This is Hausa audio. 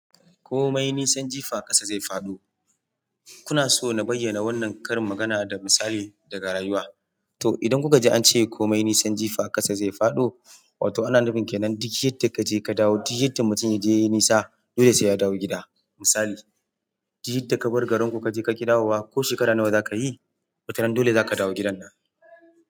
Komai nisan jifa ƙasa zai faɗo. Kuna so na bayyana wannan karin magana da misali daga rayuwa? To idan kuka ji an ce komai nisan jifa ƙasa zai faɗo, wato ana nufin kenan duk yadda kaje ka dawo. Duk yadda mutum ya je yai nisa, dole sai ya dawo gida. Misali, duk yadda ka bar garinku kaje ka ƙi dawowa ko shekara nawa zaka yi, watarana dole zaka dawo gidan nan.